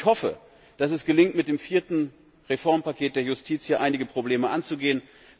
Ich hoffe, dass es gelingt, mit dem vierten Reformpaket der Justiz hier einige Probleme anzugehen.